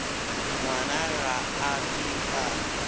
ngwana ga a ke a